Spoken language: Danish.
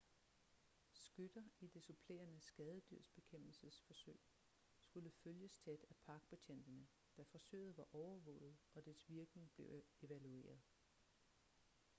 skytter i det supplerende skadedyrsbekæmpelsesforsøg skulle følges tæt af parkbetjentene da forsøget var overvåget og dets virkning blev evalueret